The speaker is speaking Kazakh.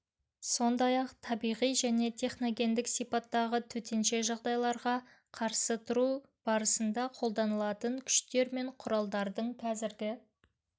сондай-ақ табиғи және техногендік сипаттағы төтенше жағдайларға қарсы тұру барысында қолданылатын күштер мен құралдардың қазіргі